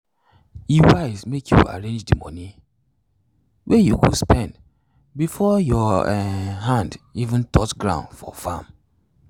e wise make you arrange d moni wey you go spend before your um hand even touch ground for farm.